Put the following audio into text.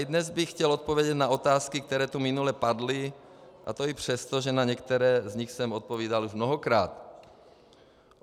I dnes bych chtěl odpovědět na otázky, které tu minule padly, a to i přesto, že na některé z nich jsem odpovídal už mnohokrát.